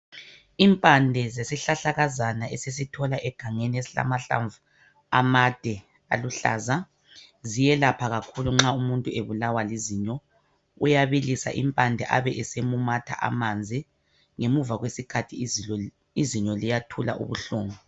Impande zesihlahlakazana esisithola egangeni esilamahlamvu amade aluhlaza ziyelapha kakhulu nxa umuntu ebulawa lizinyo. Uyabilisa impande abesemumatha amanzi ngemuva kwesikhathi izinyo liyathula ubuhlungu.